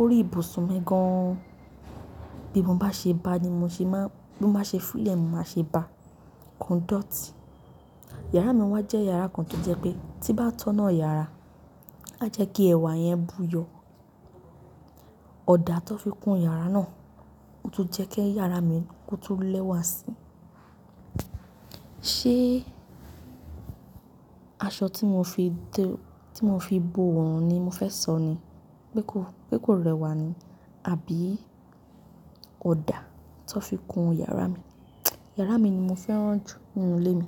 Orí ìbùsùn mi gan. Bí mo bá ṣe bá ní mo ṣe máa, bí mo bá ṣe fuulẹ̀ ni mo máa ṣe bá, kò i dọ̀tí. Yàrá mi wá jẹ́ yàrá kan tó jẹ́ pé tí bá tọ́nà yàrá, á jẹ́ kí ẹ̀wà yẹn buyọ̀. Ọ̀dà tó fi kun yàrá náà ó tún jẹ́ kí yàrá mi kó tún lẹ́wà síi. Ṣé aṣọ tí mo fi tẹ-- tí mo fi bo òun ni mo fẹ́ sọ ni pé kó, pé kó rẹwà ni? Àbí ọ̀dà tó fi kun yàrá mi? Yàrá mi ni mo fẹ́ràn jù nínú ilé mi.